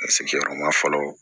Ne sigiyɔrɔ ma fɔlɔ